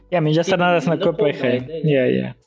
иә мен жастардың арасында көп байқаймын иә иә